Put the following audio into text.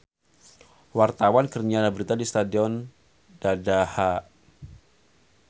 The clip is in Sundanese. Wartawan keur nyiar berita di Stadion Dadaha